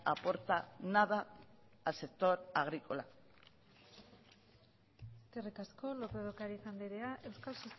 aporta nada al sector agrícola eskerrik asko lópez de ocariz anderea euskal